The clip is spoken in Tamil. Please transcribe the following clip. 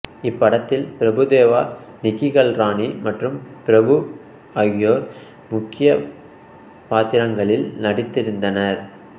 இப்படத்தில் பிரபுதேவா நிக்கி கல்ரானி மற்றும் பிரபு ஆகியோர் முக்கிய பாத்திரங்களில் நடித்திருந்தனர்